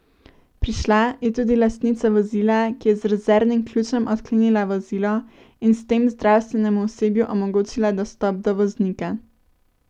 Prišla je tudi lastnica vozila, ki je z rezervnim ključem odklenila vozilo in s tem zdravstvenemu osebju omogočila dostop do voznika.